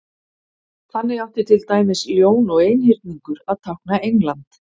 þannig átti til dæmis ljón og einhyrningur að tákna england